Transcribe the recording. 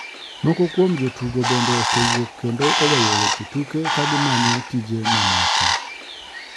Moko kuom jotugo bende osewuok kendo oweyo weche tuke ka gimanyo tije mamoko.